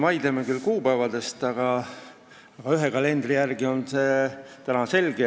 Vaidleme siin kuupäevade üle, aga ühe kalendri järgi on asi selge.